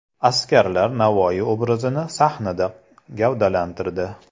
Askarlar Navoiy obrazini sahnada gavdalantirdi.